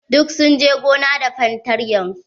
Duk sun je gona da fartanyar su.